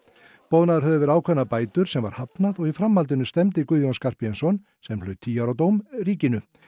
boðnar höfðu verið ákveðnar bætur sem var hafnað og í framhaldinu stefndi Guðjón Skarphéðinsson sem hlaut tíu ára dóm ríkinu